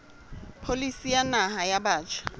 pholisi ya naha ya batjha